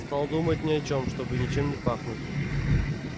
стал думать ни о чём чтобы ничем не пахнуть